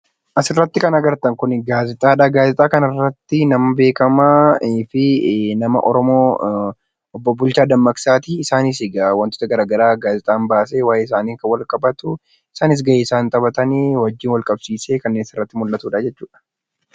Asirratti kan arginu kun gaazexaadha. Gaazexaan kun nama beekamaa fi nama oromoo obbo Bulchaa Dammaqsaati. Isaanis egaa wantoota garaagaraa gaazexaan baasee waayee isaaniin wal qabatu isaanis gahee isaan taphatan waliin walqabsiisee kan asirra jirudha jechuudha.